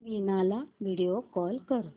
वीणा ला video call कर